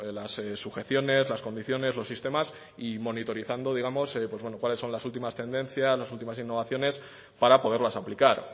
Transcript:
las sujeciones las condiciones los sistemas y monitorizando digamos cuáles son las últimas tendencias las últimas innovaciones para poderlas aplicar